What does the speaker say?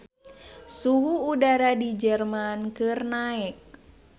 Suhu udara di Jerman keur naek